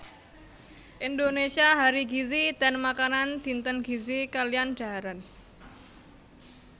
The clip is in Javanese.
Indonesia Hari Gizi dan Makanan Dinten Gizi kaliyan Dhaharan